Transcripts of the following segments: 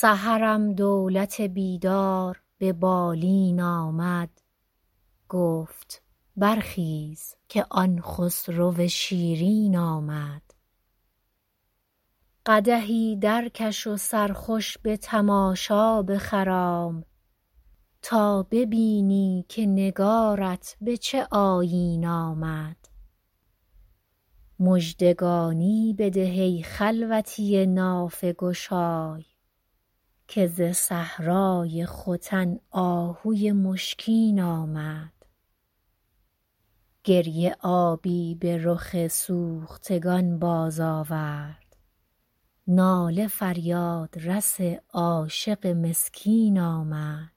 سحرم دولت بیدار به بالین آمد گفت برخیز که آن خسرو شیرین آمد قدحی درکش و سرخوش به تماشا بخرام تا ببینی که نگارت به چه آیین آمد مژدگانی بده ای خلوتی نافه گشای که ز صحرای ختن آهوی مشکین آمد گریه آبی به رخ سوختگان بازآورد ناله فریادرس عاشق مسکین آمد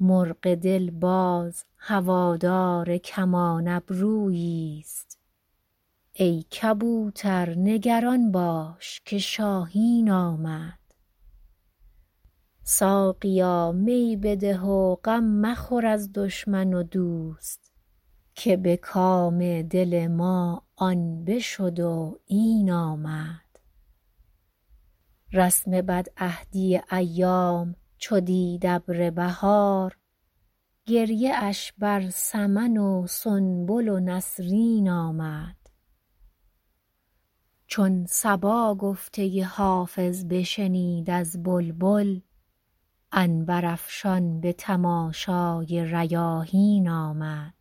مرغ دل باز هوادار کمان ابروییست ای کبوتر نگران باش که شاهین آمد ساقیا می بده و غم مخور از دشمن و دوست که به کام دل ما آن بشد و این آمد رسم بدعهدی ایام چو دید ابر بهار گریه اش بر سمن و سنبل و نسرین آمد چون صبا گفته حافظ بشنید از بلبل عنبرافشان به تماشای ریاحین آمد